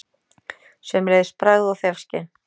Sömuleiðis bragð- og þefskyn.